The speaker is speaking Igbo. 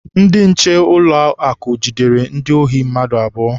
Ndị nche ụlọakụ jidere ndị ohi mmadụ abụọ.